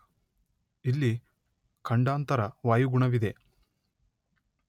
ಇಲ್ಲಿ ಖಂಡಾಂತರ ವಾಯುಗುಣವಿದೆ.